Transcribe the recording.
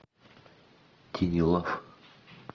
тини лав